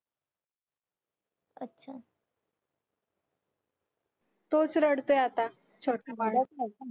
तोच रडतोय आता छोटा